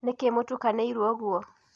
Nĩkĩ mũtukanĩiro ũguo?